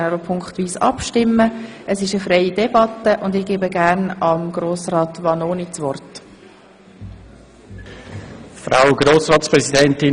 Wir führen eine freie Debatte, und ich gebe als erstes Grossrat Vanoni, dem Motionär, das Wort.